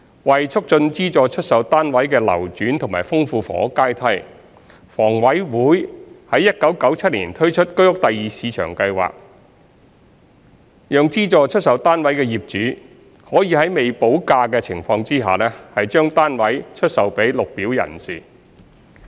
為促進資助出售單位的流轉和豐富房屋階梯，房委會於1997年推出居屋第二市場計劃，讓資助出售單位的業主可以在未補價的情況下，將單位出售予綠表人士。